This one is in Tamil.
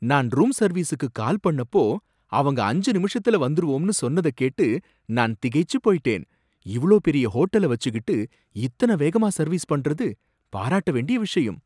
நான் ரூம் சர்வீஸுக்கு கால் பண்ணப்போ அவங்க அஞ்சு நிமிஷத்துல வந்திருவோம்னு சொன்னத கேட்டு நான் திகைச்சி போய்ட்டேன். இவ்வளோ பெரிய ஹோட்டல வச்சிக்கிட்டு இத்தன வேகமா சர்வீஸ்பண்ணறது பாராட்டவேண்டிய விஷயம்.